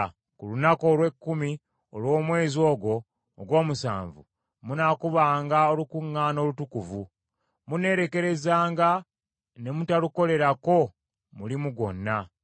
“Ku lunaku olw’ekkumi olw’omwezi ogwo ogw’omusanvu munaakubanga olukuŋŋaana olutukuvu. Muneerekerezanga ne mutalukolerako mulimu gwonna.